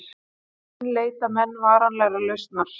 Enn leita menn varanlegrar lausnar